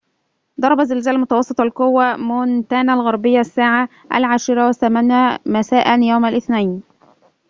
ضرب زلزال متوسط القوة مونتانا الغربية الساعة ١٠:٠٨ مساءً. يوم الاثنين